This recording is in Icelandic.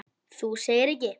Þú segir ekki.